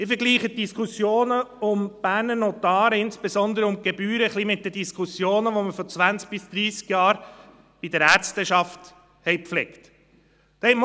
Ich vergleiche die Diskussionen um die Berner Notare, insbesondere um die Gebühren, ein bisschen mit den Diskussionen, die wir vor zwanzig bis dreissig Jahren bei der Ärzteschaft gepflegt haben.